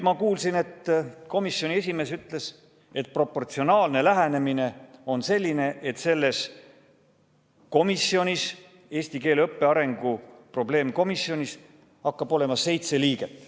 Ma kuulsin, et komisjoni esimees ütles nii: proportsionaalne lähenemine on selline, et selles komisjonis, eesti keele õppe arengu probleemkomisjonis hakkab olema seitse liiget.